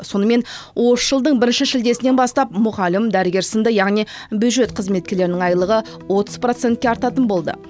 сонымен осы жылдың бірінші шілдесінен бастап мұғалім дәрігер сыңды яғни бюджет қызметкерлерінің айлығы отыз процентке артатын болды